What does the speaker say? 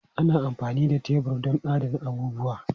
Ana amfani da tebur don adana abubuwa.